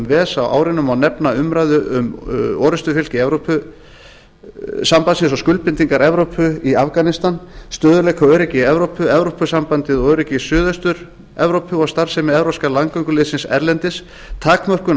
ves á árinu má nefnda umræðu um orrustufylki evrópusambandsins og skuldbindingar evrópu í afganistan stöðugleika og öryggi í evrópu evrópusambandið og öryggi í suðaustur evrópu starfsemi evrópska landgönguliðsins erlendis takmörkun á